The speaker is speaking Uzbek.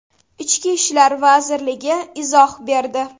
Ichki ishlar vazirligi izoh berdi.